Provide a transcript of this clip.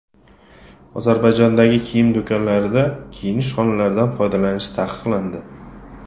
Ozarbayjondagi kiyim do‘konlarida kiyinish xonalaridan foydalanish taqiqlandi.